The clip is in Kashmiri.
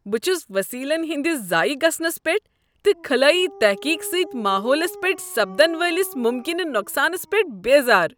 بہٕ چھس وسیلن ہندس ضایع گژھنس پیٹھ تہٕ خلٲیی تحقیق سۭتۍ ماحولس پیٹھ سپدن والس ممکنہٕ نقصانس پیٹھ بیزار۔